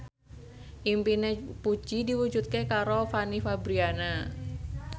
impine Puji diwujudke karo Fanny Fabriana